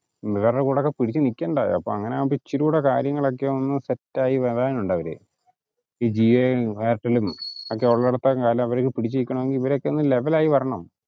ഇവമ്മാരുടെ കൂടെ ഒക്കെ പിടിച്ചൂ നിക്കണ്ടേ അപ്പൊ അങ്ങനെ ഇച്ചിരി കൂടെ കാര്യങ്ങൾ ഒക്കെ ഒന്ന് set ആയി വരാൻ ഉണ്ട് അവര്. ഇപ്പൊ ജിയോ യു എയർടെൽ പിടിച്ചനിക്കണെങ്കിൽ ഇവരൊക്കെ ഒന്ന് level ആയി വരണം